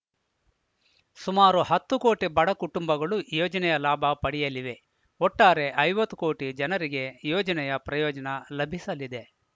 ಸುಮಾರು ಹತ್ತು ಕೋಟಿ ಬಡ ಕುಟುಂಬಗಳು ಯೋಜನೆಯ ಲಾಭ ಪಡೆಯಲಿವೆ ಒಟ್ಟಾರೆ ಐವತ್ತು ಕೋಟಿ ಜನರಿಗೆ ಯೋಜನೆಯ ಪ್ರಯೋಜನ ಲಭಿಸಲಿದೆ